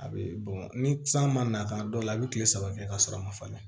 A bɛ ni san ma na ka dɔw la a bɛ kile saba kɛ ka sɔrɔ a ma falen